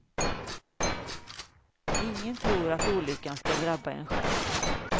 Ingen tror att olyckan skall drabba en själv.